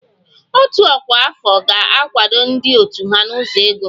Òtù ọkwa afọ ga-akwado ndị òtù ha n'ụzọ ego